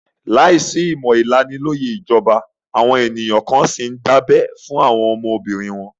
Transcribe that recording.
Láìsí ìmọ̀ ìlanilóyẹ̀ ìjọba, àwọn èèyàn kan n síi tún dábẹ́ fún àwọn ọmọbìnrin wọn